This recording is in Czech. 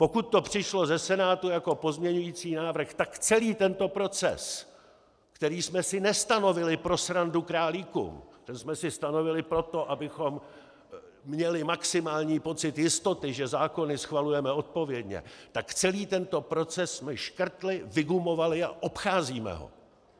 Pokud to přišlo ze Senátu jako pozměňující návrh, tak celý tento proces, který jsme si nestanovili pro srandu králíkům, ten jsme si stanovili proto, abychom měli maximální pocit jistoty, že zákony schvalujeme odpovědně, tak celý tento proces jsme škrtli, vygumovali a obcházíme ho!